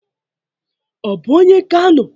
O bu onye Kano?